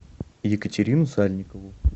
екатерину сальникову